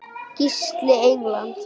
Gísli Eyland.